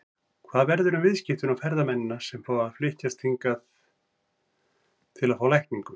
Hvað verður um viðskiptin og ferðamennina sem flykkjast hingað til að fá lækningu?